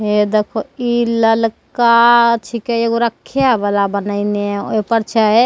हे देखो इ ललका छीके एगो रखे वाला बनेएने ओय पर छै।